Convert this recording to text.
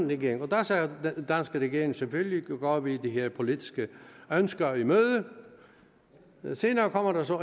regering og der sagde den danske regering selvfølgelig går vi de her politiske ønsker i møde senere kom der så